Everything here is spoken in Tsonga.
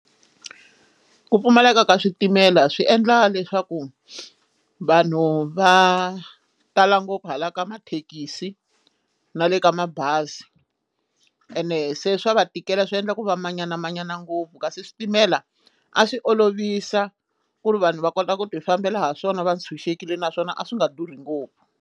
Ku pfumaleka ka switimela swi endla leswaku vanhu va tala ngopfu hala ka mathekisi na le ka mabazi ene se swa va tikela swi endla ku va manyanamanyana ngopfu kasi switimela a swi olovisa ku ri vanhu va kota ku ti fambela ha swona va ndzi tshunxekile naswona a swi nga durhi ngopfu.